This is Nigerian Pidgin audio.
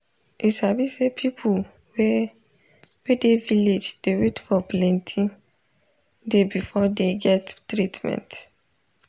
you sabi say people wey wey dey village dey wait for plenti day before dey get treatment.